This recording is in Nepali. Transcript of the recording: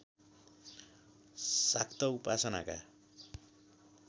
शाक्त उपासनाका